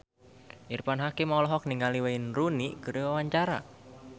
Irfan Hakim olohok ningali Wayne Rooney keur diwawancara